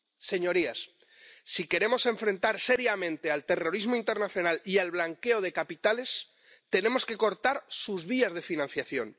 Señorías, si queremos afrontar seriamente el terrorismo internacional y el blanqueo de capitales, tenemos que cortar sus vías de financiación.